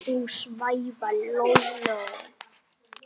Þú svæfa Lóló